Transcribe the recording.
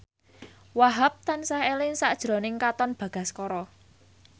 Wahhab tansah eling sakjroning Katon Bagaskara